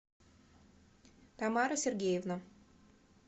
тамара сергеевна